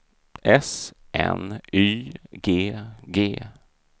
S N Y G G